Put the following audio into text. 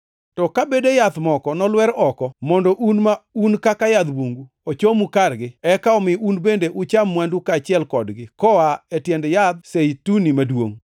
To ka bede yath moko nolwer oko, mondo un, ma un kaka yadh bungu, ochomu kargi, eka omi un bende ucham mwandu kaachiel kodgi koa e tiend yadh Zeituni maduongʼ,